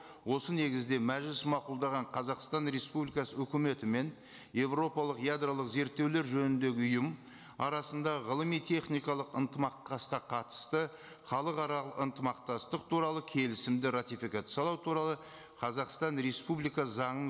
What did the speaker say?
осы негізде мәжіліс мақұлдаған қазақстан республикасы үкіметі мен еуропалық ядролық зерттеулер жөніндегі ұйым арасында ғылыми техникалық ынтымақ қатысты халықаралық ынтымақтастық туралы келісімді ратификациялау туралы қазақстан республикасы заңы